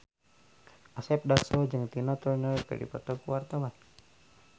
Asep Darso jeung Tina Turner keur dipoto ku wartawan